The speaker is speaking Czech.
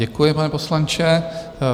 Děkuji, pane poslanče.